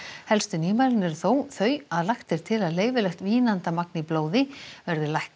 helstu nýmælin eru þó þau að lagt er til að leyfilegt vínandamagn í blóði verði lækkað